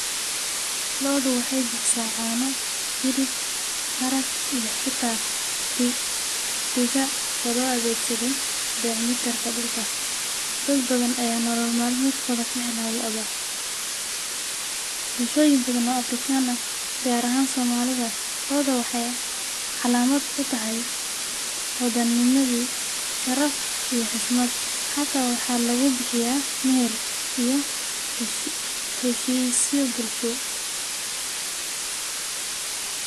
Lo'da waxy bixisaah cano hilib harag iyo xita diga oo lo adegsado bacriminta dhulka. Dad badhan aa nolol malmedkoda kahelan lo'da , bulshoyin badha ooAfrican ah gar ahaan Somalida lo'da waxay astan utahay hodanimadi , sharaf iyo xushmad , hataa waxaa lugubixiyaah , meher iyo heshisyo bulsho.